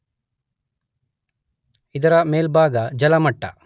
ಇದರ ಮೇಲ್ಭಾಗ ಜಲಮಟ್ಟ.